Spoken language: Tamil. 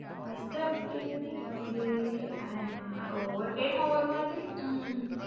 First அப்படி இருந்தது இப்போ அப்படியே ஆ ஒவ்வொரு டைம் ஒவ்வரு மாதிரி.